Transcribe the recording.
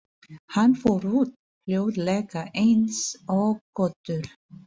Hann fór út, hljóðlega eins og köttur.